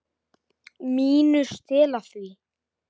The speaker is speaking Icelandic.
MÍNU. Stela því?